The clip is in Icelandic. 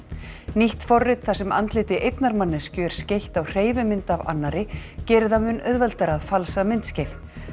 nýtt forrit þar sem andliti einnar manneskju er skeytt á hreyfimynd af annarri gerir það mun auðveldara að falsa myndskeið